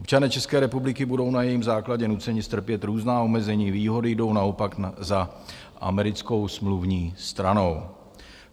Občané České republiky budou na jejím základě nuceni strpět různá omezení, výhody jdou naopak za americkou smluvní stranou.